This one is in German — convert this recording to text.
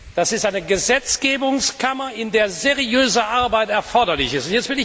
Das ist eine Gesetzgebungskammer, in der seriöse Arbeit erforderlich ist!